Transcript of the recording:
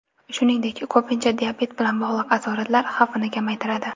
Shuningdek, ko‘pincha diabet bilan bog‘liq asoratlar xavfini kamaytiradi.